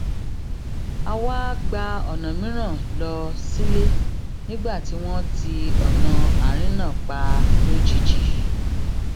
a wá gba ònà mìíràn lọ sílé nígbà tí wón ti ònà àárín náà pa lójijì